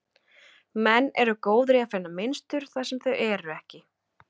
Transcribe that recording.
Menn eru góðir í að finna mynstur þar sem þau eru ekki.